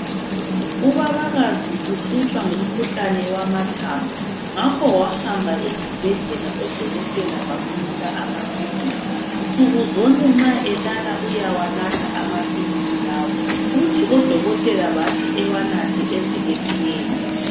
Ubabakazi uhlutshwa ngumkhuhlane wamathambo ngakho wahamba esibhedlela odokotela bamnika amaphilisi, nsuku zonke nxa elala uyawanatha amaphilizi lawa, uthi odokotela bathi ewanathe ezephele.